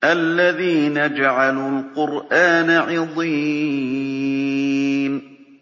الَّذِينَ جَعَلُوا الْقُرْآنَ عِضِينَ